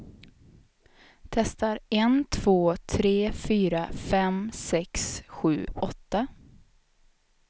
Testar en två tre fyra fem sex sju åtta.